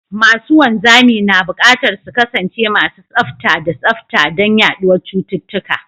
Masu wanzami na buƙatar su kasance masu tsafta da tsafta don hana yaduwar cututtuka.